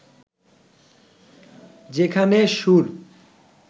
যেখানে সুর